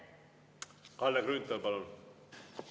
Kalle Grünthal, palun!